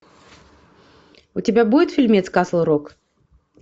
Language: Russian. у тебя будет фильмец касл рок